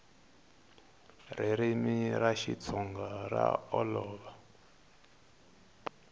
ririmi ra xitsonga ra olova